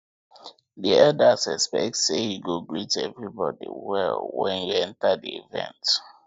di elders expect say you go greet everybody well when you enter di event